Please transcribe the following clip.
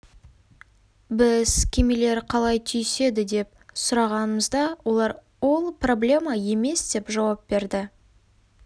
біз кемелер қалай түйіседі деп сұрағанымызда олар ол проблема емес деп жауап берді